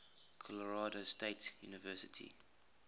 colorado state university